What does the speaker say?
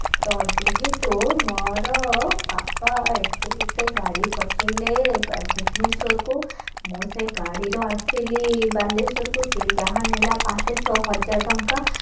ଅ ଯେହେତୁ ମୋର ବାପା ଏଠୁ ଗୋଟେ ଗାଡି ପଠେଇଲେ ଭୁବନେଶ୍ବରକୁ ମୁଁ ସେଇ ଗାଡିରେ ଆସିଲି ବାଲେଶ୍ବରକୁ ସେ ଯାହା ନେଲା ପାଞ୍ଚ ଛଅ ହଜାର ଟଙ୍କା